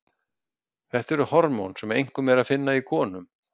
þetta eru hormón sem einkum er að finna í konum